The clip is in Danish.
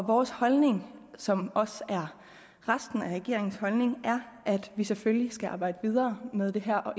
vores holdning som også er resten af regeringens holdning er at vi selvfølgelig skal arbejde videre med det her og